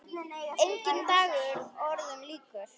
Enginn dagur öðrum líkur.